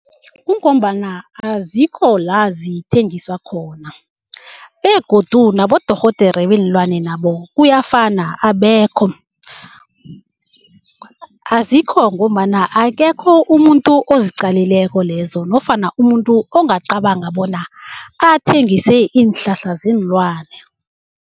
Kungombana azikho la zithengiswa khona begodu nabodorhodere beenlwane nabo kuyafana abekho. Azikho ngombana akekho umuntu oziqalileko lezo nofana umuntu ongacabanga bona athengise iinhlahla zeenlwane.